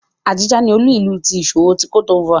Abidjan ni olu-ilu iṣowo ti Côte d'Ivoire.